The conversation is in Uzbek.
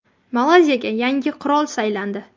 Malayziyaga yangi qirol saylandi.